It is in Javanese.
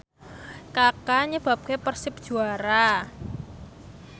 Kaka nyebabke Persib juara